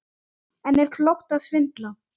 En er klókt að svindla?